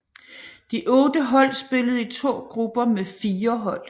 De otte hold spillede i to grupper med fire hold